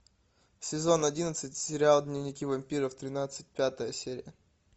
сезон одиннадцать сериал дневники вампира тринадцать пятая серия